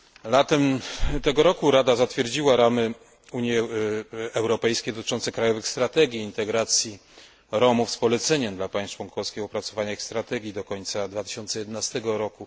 Latem tego roku Rada zatwierdziła ramy Unii Europejskiej dotyczące krajowych strategii integracji Romów z poleceniem dla państw członkowskich opracowania ich strategii do końca 2011 r.